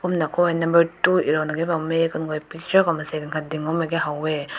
kumna nakoit number two erona ke bam mae kungoi picture ko mansai aakat ding bam mai ne hao weh.